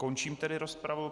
Končím tedy rozpravu.